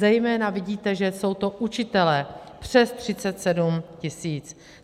Zejména vidíte, že jsou to učitelé, přes 37 tisíc.